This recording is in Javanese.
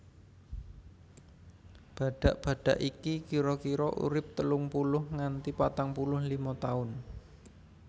Badhak badhak iki kira kira urip telung puluh nganti patang puluh lima taun